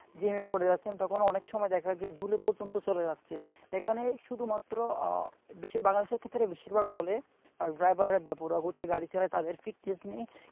jam এ পড়ে যাচ্ছেন তখন অনেক সময় দেখা যাচ্ছে ঝুলে পর্যন্ত চলে যাচ্ছে, এখানে শুধুমাত্র আহ বেশি মানুষের ক্ষেত্রে বেশিরভাগ বলে আর driver রা বেপরোয়া গতিতে গাড়ি চালাচ্ছে, তাদের নেই।